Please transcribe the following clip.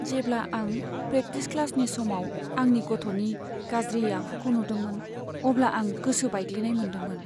जेब्ला आं प्रेकटिस क्लासनि समाव आंनि गथ'नि गाज्रि आखुखौ नुदोंमोन अब्ला आं गोसो बायग्लिनाय मोनदोंमोन।